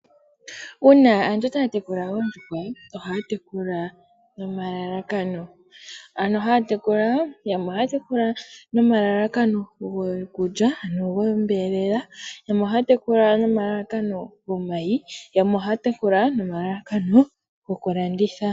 Uuna aantu taya tekula oondjuhwa, ohaya teku nomalalakano, yamwe ohaya tekula nomalakano gokulya ano gombelela, yamwe ohaya tekula nomalalakano gomayi, yamwe ohaya tekula nomalalakano gokulanditha.